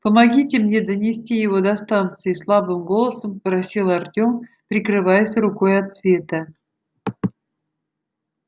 помогите мне донести его до станции слабым голосом попросил артем прикрываясь рукой от света